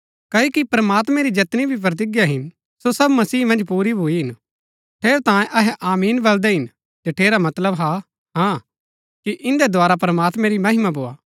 क्ओकि प्रमात्मैं री जैतनी भी प्रतिज्ञा हिन सो सब मसीह मन्ज पूरी भूई हिन ठेरैतांये अहै आमीन बलदै हिन जठेरा मतलब हाँ हा कि इन्दै द्धारा प्रमात्मैं री महिमा भोआ